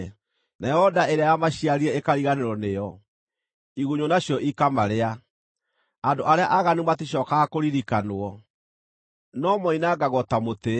Nayo nda ĩrĩa yamaciarire ĩkariganĩrwo nĩo, igunyũ nacio ikamarĩa; andũ arĩa aaganu maticookaga kũririkanwo, no moinangagwo ta mũtĩ.